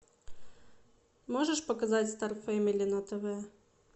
можешь показать стар фэмили на тв